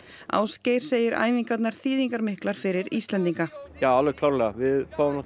Ásgeir segir æfingarnar þýðingarmiklar fyrir Íslendinga já alveg klárlega við fáum